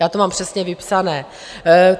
Já to mám přesně vypsané.